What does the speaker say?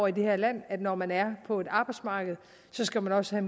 i det her land at når man er på arbejdsmarkedet skal man også have